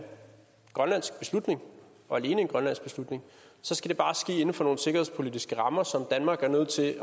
grønlandsk beslutning og alene en grønlandsk beslutning så skal det bare ske inden for nogle sikkerhedspolitiske rammer som danmark er nødt til